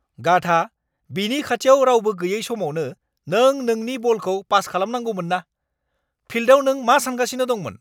गाधा। बिनि खाथियाव रावबो गैयै समावनो नों बिनो बलखौ पास खालामनांगौमोनना। फिल्दआव नों मा सान्गासिनो दंमोन?